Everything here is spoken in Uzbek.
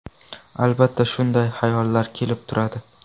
Albatta, shunday hayollar kelib turadi.